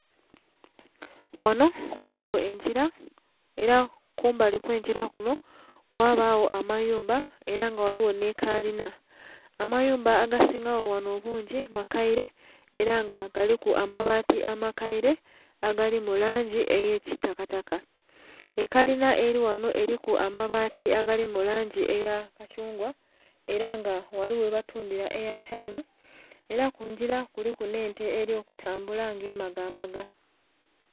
Wano ghaligho engira era kumbali okwengira kuno wabagho amayumba era nga ghaligho n'ekalina. Amayumba agasingagho wano obungi makaire era nga galiku amabaati amakaire agali mu langi ey'ekitakata. Ekalina eli ghano eriku amabaati agali mu langi eya kathungwa era nga ghaligho webatundhira eyatayimu era ku ngira kuliku n'ente eri kutambula nga emagamaga.